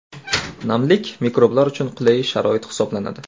Namlik mikroblar uchun qulay sharoit hisoblanadi.